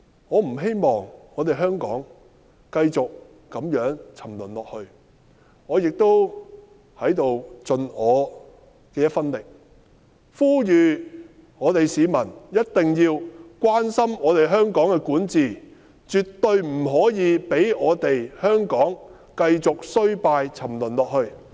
我不希望我們香港繼續如此沉淪下去，我在此要盡我的一分力，呼籲市民一定要關心我們香港的管治，絕對不可以讓我們香港繼續衰敗沉淪下去。